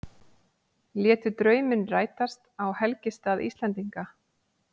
Létu drauminn rætast á helgistað Íslendinga